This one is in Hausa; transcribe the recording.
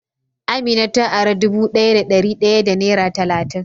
Amina ta ara dubu daya da dari daya da nera talatin.